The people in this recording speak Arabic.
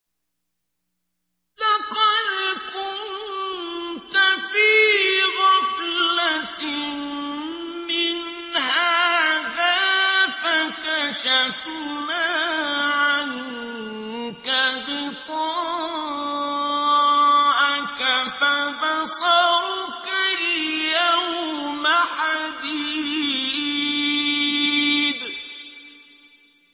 لَّقَدْ كُنتَ فِي غَفْلَةٍ مِّنْ هَٰذَا فَكَشَفْنَا عَنكَ غِطَاءَكَ فَبَصَرُكَ الْيَوْمَ حَدِيدٌ